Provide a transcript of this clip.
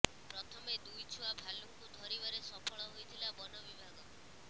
ପ୍ରଥମେ ଦୁଇ ଛୁଆ ଭାଲୁଙ୍କୁ ଧରିବାରେ ସଫଳ ହୋଇଥିଲା ବନବିଭାଗ